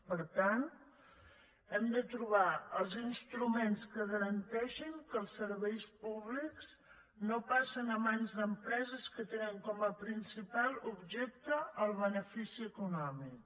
per tant hem de trobar els instruments que garanteixin que serveis públics no passen a mans d’empreses que tenen com a principal objecte el benefici econòmic